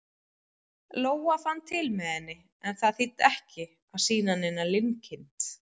Lóa fann til með henni, en það þýddi ekki að sýna neina linkind.